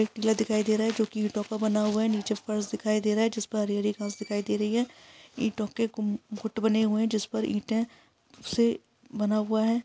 एक किला दिखाई दे रहा है। जो कि ईटों का बना हुआ है। नीचे फर्श दिखाई दे रहा है जिस पर हरी-हरी घांस दिखाई दे रही है। ईटों के कुंभ गुट बने हुए हैं जिस पर ईंट से बना हुआ है।